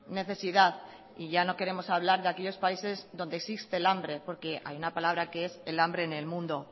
necesidad y ya no queremos hablar de aquellos países donde existe el hambre porque hay una palabra que es el hambre en el mundo